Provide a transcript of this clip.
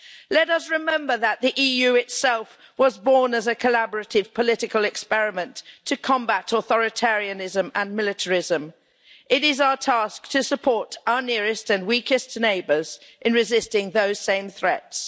Let us remember that the EU itself was born as a collaborative political experiment to combat authoritarianism and militarism. It is our task to support our nearest and weakest neighbours in resisting those same threats.